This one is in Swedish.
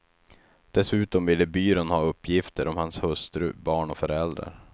Dessutom ville byrån ha uppgifter om hans hustru, barn och föräldrar.